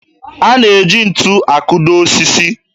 A na-eji ntu akụdo osisi